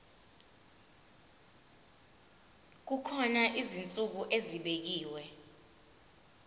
kukhona izinsuku ezibekiwe